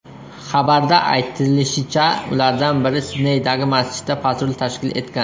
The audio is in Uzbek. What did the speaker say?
Xabarda aytilishicha, ulardan biri Sidneydagi masjidda patrul tashkil etgan.